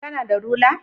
Kana da rula?